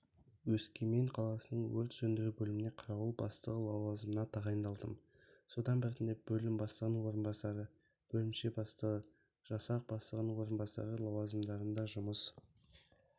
өскемен қаласының өрт сөндіру бөліміне қарауыл бастығы лауазымына тағайындалдым содан біртіндеп бөлім бастығының орынбасары бөлімше бастығы жасақ бастығының орынбасары лауазымдарында жұмыс